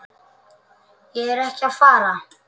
Ég er ekki að fara.